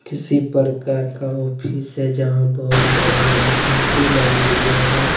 किसी प्रकार का ऑफिस है जहां बहुत बड़े बड़े से सोफे लगे हुवे हैं।